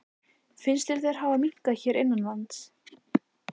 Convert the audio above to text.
Finnst þér þeir hafa minnkað hér innanlands?